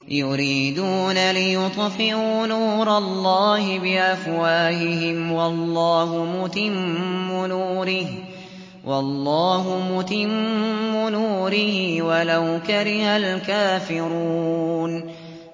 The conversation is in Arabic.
يُرِيدُونَ لِيُطْفِئُوا نُورَ اللَّهِ بِأَفْوَاهِهِمْ وَاللَّهُ مُتِمُّ نُورِهِ وَلَوْ كَرِهَ الْكَافِرُونَ